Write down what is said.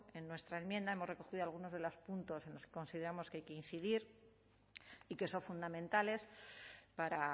en nuestra enmienda hemos recogido algunos de los puntos en los que consideramos que hay que incidir y que son fundamentales para